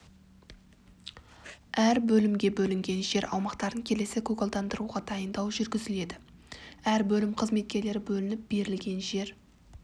әр бөлімге бөлінген жер аумақтарын келесі көгалдандыруға дайындау жүргізіледі әр бөлім қызметкері бөлініп берілген жер